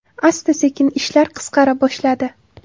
Asta-sekin ishlar qisqara boshladi.